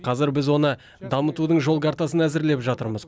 қазір біз оны дамытудың жол картасын әзірлеп жатырмыз